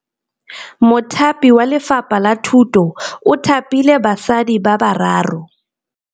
Mothapi wa Lefapha la Thutô o thapile basadi ba ba raro.